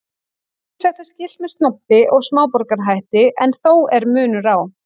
Ýmislegt er skylt með snobbi og smáborgarahætti en þó er munur á.